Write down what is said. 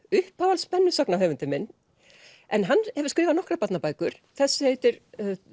uppáhalds minn en hann hefur skrifað nokkrar barnabækur þessi heitir